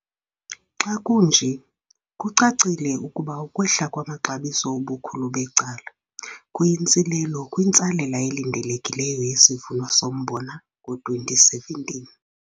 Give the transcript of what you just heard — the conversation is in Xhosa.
Xa kunje, kucacile ukuba ukwehla kwamaxabiso ubukhulu becala, kuyintsilelo kwintsalela elindelekileyo yesivuno sombona ngo-2017.